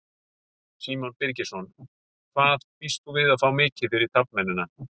Símon Birgisson: Hvað býst þú við að fá mikið fyrir taflmennina?